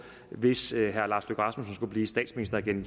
hvis herre lars løkke rasmussen skulle blive statsminister igen